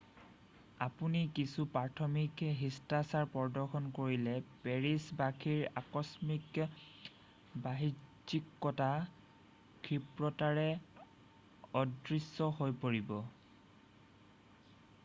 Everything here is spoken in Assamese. আপুনি কিছু প্ৰাথমিক শিষ্টাচাৰ প্ৰদৰ্শন কৰিলে পেৰিছ বাসীৰ আকস্মিক বাহ্যিকতা ক্ষিপ্ৰতাৰে অদৃশ্য হৈ পৰিব